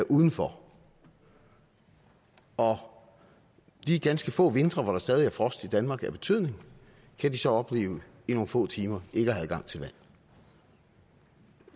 udenfor og de ganske få vintre hvor der stadig er frost i danmark af betydning kan de så opleve i nogle få timer ikke at have adgang til vand